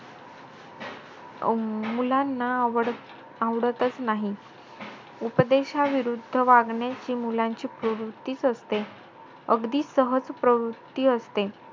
अं मुलांना आव~ अं आवडतचं नाही. उपदेशाविरुद्ध वागण्याची मुलांची प्रवृत्तीचं असते. अगदीसहज प्रवृत्ती असते.